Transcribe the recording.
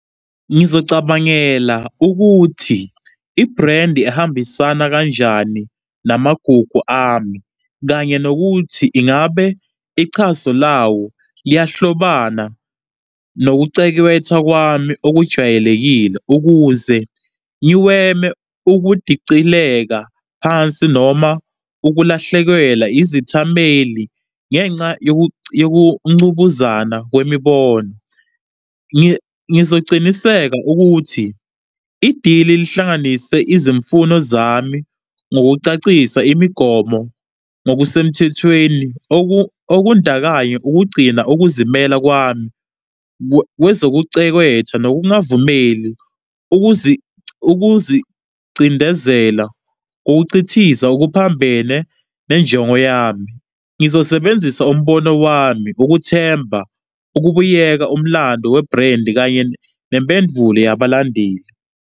Ngizocabangela ukuthi i-brand ihambisana kanjani namagugu ami kanye nokuthi ingabe ichaso lawo liyahlobana nokucekwetha kwami okujwayelekile ukuze ngiweme ukudicileka phansi noma ukulahlekelwa izithameli ngenxa yokuncubuzana kwemibono. Ngizoqiniseka ukuthi i-deal-i lihlanganise izimfuno zami ngokucacisa imigomo ngokusemthethweni okundakanya ukugcina ukuzimela kwami kwezokechekethwa nokungavumeli ukuzicindezela ngokucithiza okuphambene nenjongo yami. Ngizosebenzisa umbono wami ukuthemba ukubuyeka umlando we-brand kanye nempendvulo yabalandeli.